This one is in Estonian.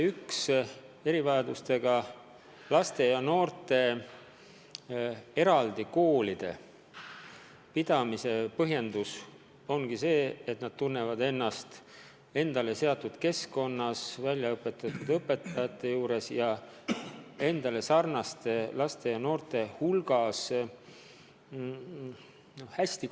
Üks erivajadustega laste ja noorte eraldi koolide pidamise põhjendus ongi see, et nad tunnevad ennast nende jaoks kohaldatud keskkonnas, eriväljaõppe saanud õpetajate käe all ja endasarnaste kaaslaste hulgas hästi.